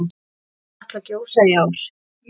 Mun Katla gjósa í ár?